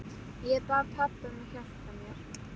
Ég bað pabba að hjálpa mér.